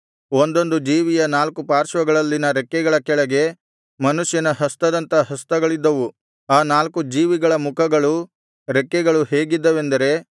ಒಂದೊಂದು ಜೀವಿಯ ನಾಲ್ಕು ಪಾರ್ಶ್ವಗಳಲ್ಲಿನ ರೆಕ್ಕೆಗಳ ಕೆಳಗೆ ಮನುಷ್ಯನ ಹಸ್ತದಂಥ ಹಸ್ತಗಳಿದ್ದವು ಆ ನಾಲ್ಕು ಜೀವಿಗಳ ಮುಖಗಳೂ ರೆಕ್ಕೆಗಳೂ ಹೇಗಿದ್ದವೆಂದರೆ